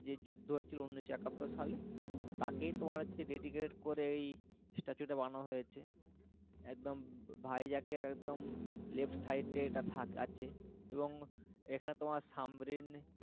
যে যুদ্ধ হয়েছিল উনিশশো একাত্তর সালে তাকেই তোমার হচ্ছে dedicated করে ওই statue টা বানানো হয়েছে একদম ভাইজ্যাকের একদম left side দিয়ে একটা থাক আছে এবং এখানে তোমার সামরিন,